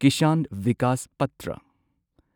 Kisan Vikas Patra